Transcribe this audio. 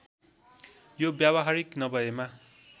यो व्यावहारिक नभएमा